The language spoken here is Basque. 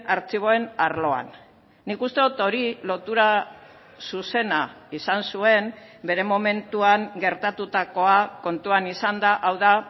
artxiboen arloan nik uste dut hori lotura zuzena izan zuen bere momentuan gertatutakoa kontuan izanda hau da